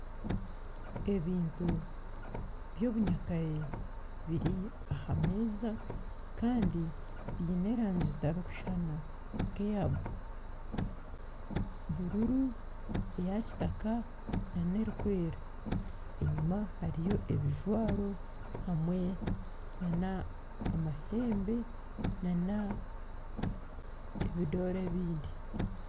Ebintu ebyobunyakare biri aha meeza kandi biine erangi zitarikushushana nk'eya bururu eya kitaka nana erikwera enyuma hariyo ebijwaro hamwe nana amahembe nana ebidore ebindi